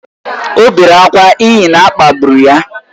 O bere ákwá n’ihi na a kpagburu ya